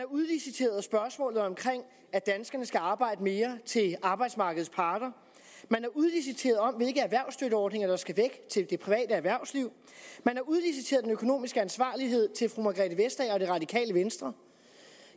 udliciteret spørgsmålet om at danskerne skal arbejde mere til arbejdsmarkedets parter man har udliciteret spørgsmålet om hvilke erhvervsstøtteordninger der skal væk til det private erhvervsliv man har udliciteret den økonomiske ansvarlighed til fru margrethe vestager og det radikale venstre